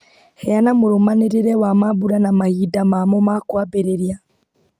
heana mũrũmanĩrĩre wa mambura na mahinda mamo makwambĩrĩria